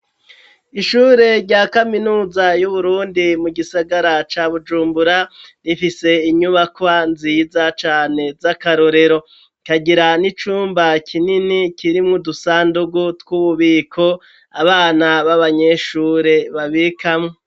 Ishure rya kaminuza y'uburundi mu gisagara ca Bujumbura rifise inyubakwa nziza cane z'akarorero ikagira n'icumba kinini kirimwo udusandugu tw'ububiko abana babanyeshure babikamwo.